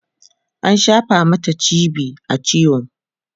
an shafa Mata g.b a ciwo